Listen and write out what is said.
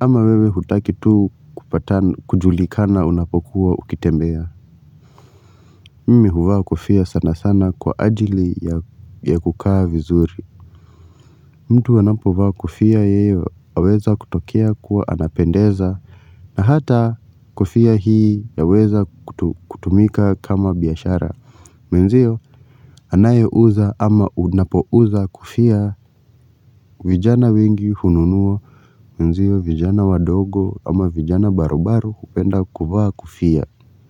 ama wewe hutaki tu kujulikana unapokuwa ukitembea Mimi huvaa kofia sana sana kwa ajili ya kukaa vizuri mtu anapovaa kofia ya weza kutokea kuwa anapendeza na hata kofia hii ya weza kutumika kama biashara. Menzio anayo uza ama unapouza kofia vijana wengi hununua menzio vijana wadogo ama vijana barubaru upenda kuvaaa kofia.